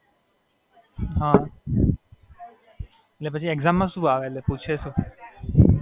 એટલે પછી એક્જામ માં શું આવે એટલે પૂછે છું?